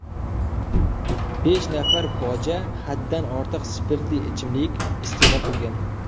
Besh nafar boja haddan ortiq spirtli ichimlik iste’mol qilgan.